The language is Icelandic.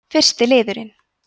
fyrsti liðurinn